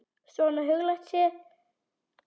Svona huglægt séð.